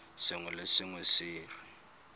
sengwe le sengwe se re